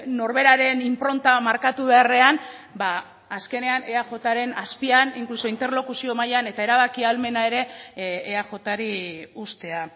norberaren inpronta markatu beharrean azkenean eajren azpian inkluso interlokuzio mailan eta erabaki ahalmena ere eajri uztea